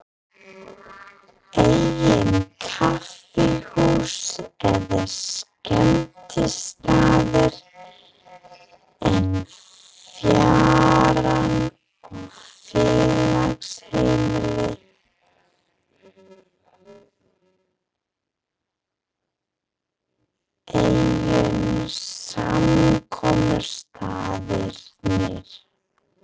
Engin kaffihús eða skemmtistaðir en fjaran og félagsheimilið einu samkomustaðirnir.